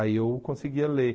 Aí eu conseguia ler.